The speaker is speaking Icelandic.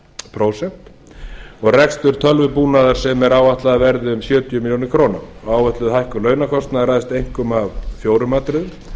prósent og rekstur tölvubúnaðar sem er áætlað að verði um sjötíu milljónum króna og áætluð hækkun launakostnaðar ræðst einkum af fjórum atriðum